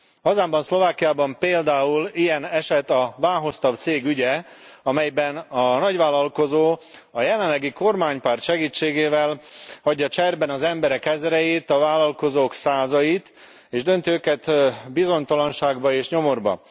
Hazámban, Szlovákiában például ilyen eset a Váhostav cég ügye, amelyben a nagyvállalkozó a jelenlegi kormánypárt segítségével hagyja cserben az emberek ezreit, a vállalkozók százait, és dönti őket bizonytalanságba és nyomorba.